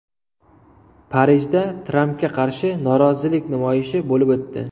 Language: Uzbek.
Parijda Trampga qarshi norozilik namoyishi bo‘lib o‘tdi.